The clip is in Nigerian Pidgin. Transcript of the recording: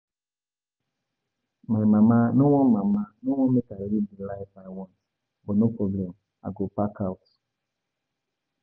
My mama no wan mama no wan make I live the life I want but no problem I go pack out